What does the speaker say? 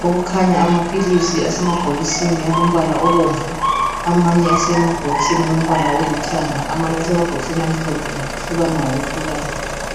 Kukhanya amaphilisi asemabhokisini alombala obomvu, olithanga lomhlophe.